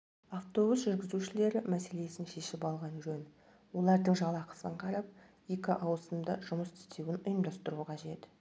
автобус жүргізушілері мәселесін шешіп алған жөн олардың жалақысын қарап екі ауысымда жұмыс істеуін ұйымдастыру қажет